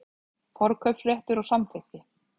Forkaupsréttur og samþykki.